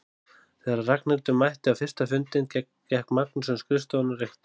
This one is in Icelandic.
Þegar Ragnhildur mætti á fyrsta fundinn gekk Magnús um skrifstofuna og reykti.